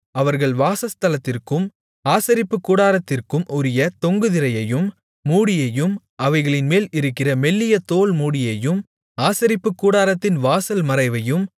அவர்கள் வாசஸ்தலத்திற்கும் ஆசரிப்புக் கூடாரத்திற்கும் உரிய தொங்கு திரையையும் மூடியையும் அவைகளின் மேல் இருக்கிற மெல்லிய தோல் மூடியையும் ஆசரிப்புக்கூடாரத்தின் வாசல் மறைவையும்